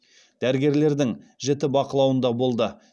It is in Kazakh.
дәрігерлердің жіті бақылауында болды